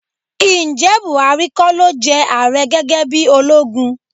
Ǹjẹ́ Bùhárí kọ́ ló jẹ ààrẹ gẹ́gẹ́ bí ológun?